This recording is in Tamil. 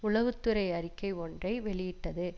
உளவு துறை அறிக்கை ஒன்றை வெளியிட்டது